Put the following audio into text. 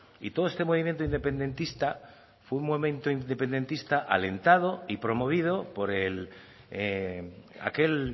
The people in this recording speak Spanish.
y todo este movimiento independentista fue un momento independentista alentado y promovido por aquel